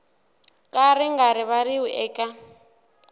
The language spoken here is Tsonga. ka ri nga rivariwi eka